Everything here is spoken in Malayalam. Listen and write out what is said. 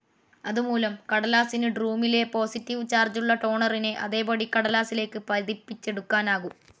അതുമൂലം കടലാസിനു ഡ്‌റൂമിലെ പോസിറ്റീവ്‌ ചാർജുള്ള ടോണറിനെ അതേപടി കടലാസിലേക്ക് പതിപ്പിച്ചെടുക്കാനാകും.